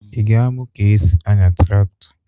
Ị ga-amụ ka e si anya tractor?